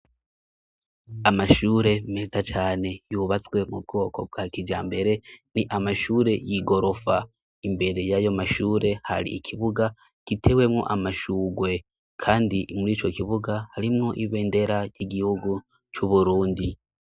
Amashure meza cane yubatswe mu bwoko bwa kija mbere ni amashure y'igorofa imbere y'ayo mashure hari ikibuga gitewemwo amashurwe, kandi imuri ico kibuga harimwo ibe ndera y'igihugu c'uburundi.